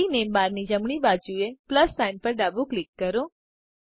ID name બારની જમણી બાજુએ પ્લસ સાઇન પર ડાબું ક્લિક કરો